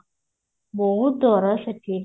ବହୁତ ଦର ସେଠି